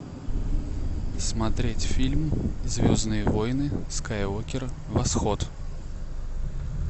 смотреть фильм звездные войны скайуокер восход